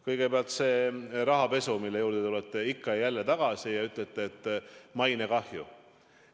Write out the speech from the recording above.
Kõigepealt see rahapesu, mille juurde te ikka ja jälle tagasi tulete ja räägite mainekahjust.